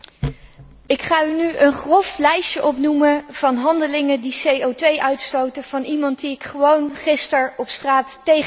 Ik ga nu een grof lijstje opsommen van handelingen die CO uitstoten, van iemand die ik gewoon gisteren op straat tegenkwam.